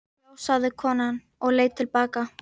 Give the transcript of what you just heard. Já, sagði konan og leit til baka.